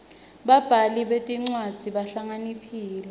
babhali betincwadzi bahlakaniphile